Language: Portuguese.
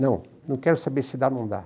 Não, não quero saber se dá ou não dá.